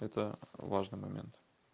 это важный момент